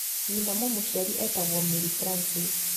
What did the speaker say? Nyina mũmũciari etagwo Mary Francis.